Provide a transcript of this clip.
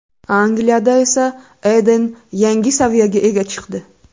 Angliyada esa Eden yangi saviyaga chiqdi.